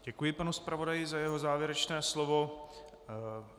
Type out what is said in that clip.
Děkuji panu zpravodaji za jeho závěrečné slovo.